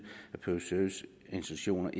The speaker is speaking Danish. at intentionerne